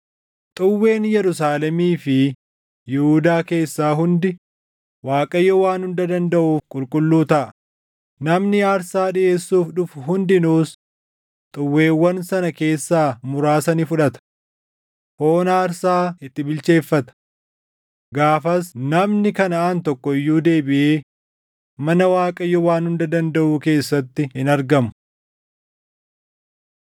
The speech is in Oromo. Xuwween Yerusaalemii fi Yihuudaa keessaa hundi Waaqayyo Waan Hunda Dandaʼuuf qulqulluu taʼa; namni aarsaa dhiʼeessuuf dhufu hundinuus xuwweewwan sana keessaa muraasa ni fudhata. Foon aarsaa itti bilcheeffata. Gaafas namni Kanaʼaan tokko iyyuu deebiʼee mana Waaqayyo Waan Hunda Dandaʼuu keessatti hin argamu.